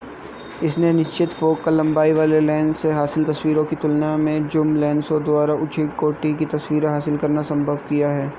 इसने निश्चित फ़ोकल लंबाई वाले लेंस से हासिल तस्वीरों की तुलना में ज़ूम लेंसों द्वारा उच्च कोटि की तस्वीरें हासिल करना संभव किया है